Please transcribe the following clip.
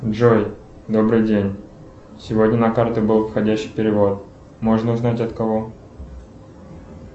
джой добрый день сегодня на карту был входящий перевод можно узнать от кого